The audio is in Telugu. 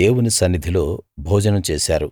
దేవుని సన్నిధిలో భోజనం చేశారు